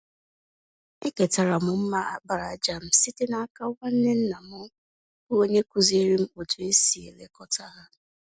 Eketara m mma àkpàràjà m site n'aka nwanne nna m bụ́ onye kụziiri m otú e si elekọta ya.